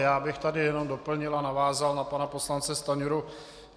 Já bych tady jenom doplnil a navázal na pana poslance Stanjuru.